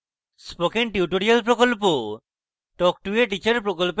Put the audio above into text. spoken tutorial প্রকল্প talk to a teacher প্রকল্পের অংশবিশেষ